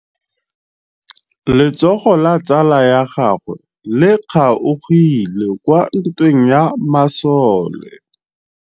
Letsôgô la tsala ya gagwe le kgaogile kwa ntweng ya masole.